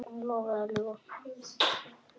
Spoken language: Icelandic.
Lofa eða ljúga?